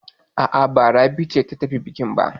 A'a, ba Rabi ce ta tafi bukin ba.